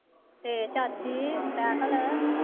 ਤੇ ਚਾਚੀ ਰਾਹੁਲ।